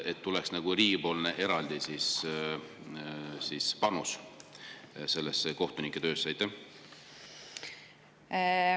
Ehk tuleks teha riigipoolne eraldi panus sellesse kohtunike töösse?